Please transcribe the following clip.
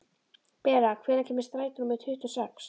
Bera, hvenær kemur strætó númer tuttugu og sex?